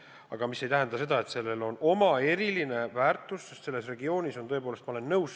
Ometi see ei tähenda seda, et sellel ideel ei oleks eriline väärtus, sest sellel regioonil on tõepoolest potentsiaal olemas.